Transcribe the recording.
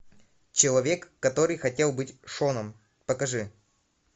человек который хотел быть шоном покажи